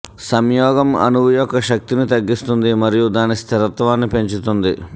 సంయోగం అణువు యొక్క శక్తిని తగ్గిస్తుంది మరియు దాని స్థిరత్వాన్ని పెంచుతుంది